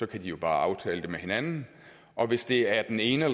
kan de jo bare aftale det med hinanden og hvis det af den ene